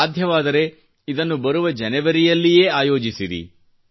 ಸಾಧ್ಯವಾದರೆ ಇದನ್ನು ಬರುವ ಜನುವರಿಯಲ್ಲಿಯೇ ಆಯೋಜಿಸಿರಿ